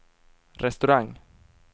restaurang